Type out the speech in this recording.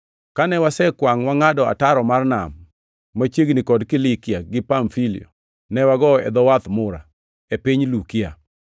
Kane wasekwangʼ wangʼado ataro mar nam, machiegni kod Kilikia gi Pamfilia, ne wagowo e dho wadh Mura, e piny Lukia.